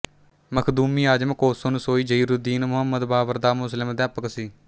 ਮਖ਼ਦੂਮੀ ਆਜ਼ਮ ਕੋਸੋਨਸੋਈ ਜ਼ਹੀਰੁੱਦੀਨ ਮੁਹੰਮਦ ਬਾਬਰ ਦਾ ਮੁਸਲਿਮ ਅਧਿਆਪਕ ਸੀ